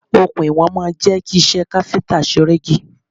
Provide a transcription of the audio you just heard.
Okùn iwọ̀n máa ń jẹ́ kí iṣẹ́ káfíntà ṣe rẹ́gí.